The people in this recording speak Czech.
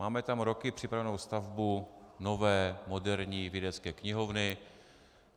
Máme tam roky připravenou stavbu nové moderní vědecké knihovny.